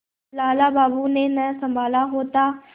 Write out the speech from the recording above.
लाला बाबू ने न सँभाला होता